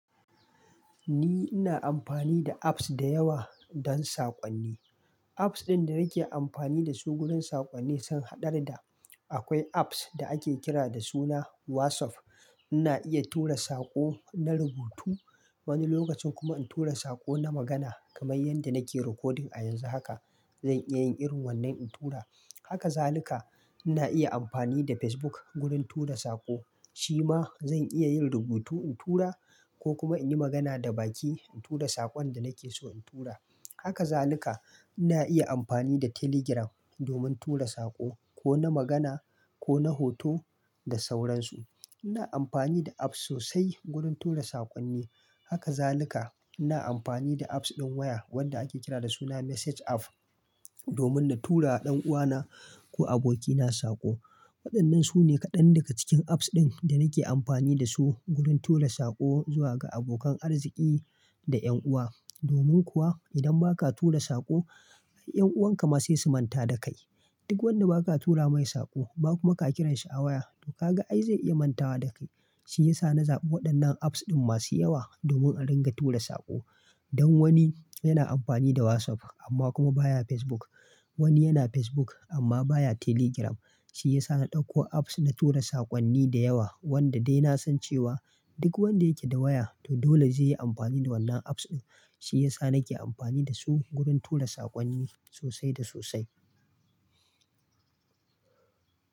Ni ina amfani da apps da yawa don sakonni. Apps ɗin da nake amfani da su wurin sakonni suna haɗar da, akwai apps da ake kira da suna WhatsApp. Ina iya tura saƙo na rubutu, wani lokacin kuma in tura saƙo na magana kamar yadda nake recording a yanzu haka. Zan iya yin irin wannan in tura. Haka zalika ina iya amfani da Facebook wurin tura saƙo. Shi ma zan iya yin rubutu in tura ko kuma in yi magana da baki in tura sakon da nake so in tura. Haka zanuka ina iya amfani da Telegram domin tura saƙo ko na magana ko na hoto da sauransu. Ina amfani da apps sosai wurin tura sakonni. Haka zalika ina amfani da apps ɗin waya wanda ake kira da suna Message app domin na tura ɗan uwana ko abokina saƙo. Waɗannan su ne kaɗan daga cikin apps ɗin da nake amfani da su wurin tura saƙo zuwa ga abokan arziki da ƴan uwa. Domin kuwa idan ba ka tura saƙo, ƴan'uwan ka ma sai su manta da kai. Duk wanda ba ka tura mai saƙo, ba kuma ka kirashi a waya, to ka ga ai zai iya mantawa da kai. Shi ya sa na zaɓi waɗannan apps ɗin masu yawa domin a dinga tura saƙo. Dan wani yana amfani da WhatsApp amma kuma baya Facebook. Wani yana Facebook amma baya Telegram. Shi ya sa na ɗauko apps na tura sakonni da yawa, wanda dai na san cewa duk wanda yake da waya to dole zai yi amfani da wannan apps ɗin. Shi ya sa nake amfani da su wurin tura sakonni sosai da sosai.